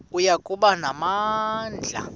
oya kuba namandla